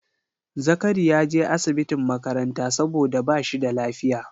Zakari ya je asibitin makaranta saboda ba shi da lafiya